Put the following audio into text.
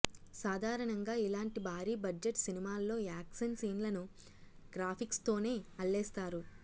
సాధారణంగా ఇలాంటి భారీ బడ్జెట్ సినిమాల్లో యాక్షన్ సీన్లను గ్రాఫిక్స్తోనే అల్లేస్తారు